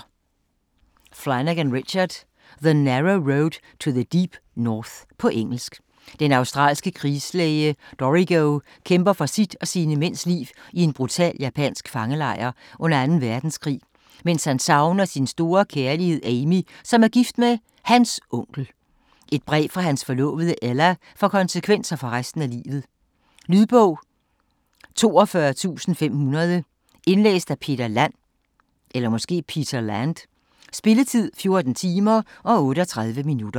Flanagan, Richard: The narrow road to the deep north På engelsk. Den australske krigslæge Dorrigo kæmper for sit og sine mænds liv i en brutal japansk fangelejr under 2. verdenskrig, mens han savner sin store kærlighed Amy, som er gift med hans onkel. Et brev fra hans forlovede Ella får konsekvenser for resten af livet. Lydbog 42500 Indlæst af Peter Land Spilletid: 14 timer, 38 minutter.